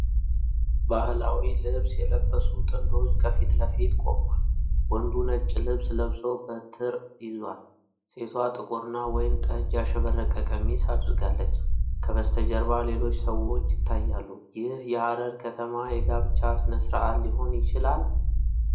ባህላዊ ልብስ የለበሱ ጥንዶች ከፊት ለፊት ቆመዋል። ወንዱ ነጭ ልብስ ለብሶ በትረ ይዟል፤ ሴቷ ጥቁርና ወይን ጠጅ ያሸበረቀ ቀሚስ አድርጋለች። ከበስተጀርባ ሌሎች ሰዎች ይታያሉ። ይህ የሐረር ከተማ የጋብቻ ሥነ ስርዓት ሊሆን ይችላል?